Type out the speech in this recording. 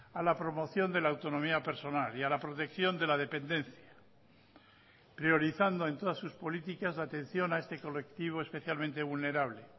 a la promoción de la autonomía personal y a la protección de la dependencia priorizando en todas sus políticas la atención a este colectivo especialmente vulnerable